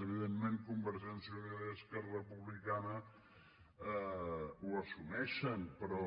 evidentment convergència i unió i esquerra republicana ho assumeixen però